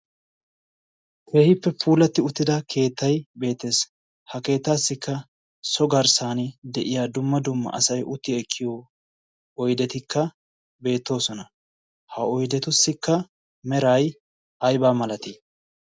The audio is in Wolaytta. keehippe puulatti uttida keettai beetees. ha keettaassikka so garssan de7iya dumma dumma asai utti ekkiyo oidetikka beettoosona. ha oidetussikka merai aibaa malatii?